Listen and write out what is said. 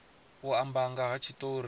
u amba nga ha tshitori